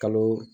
Kalo